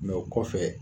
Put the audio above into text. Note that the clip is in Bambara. Mɛ o kɔfɛ